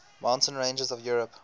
mountain ranges of europe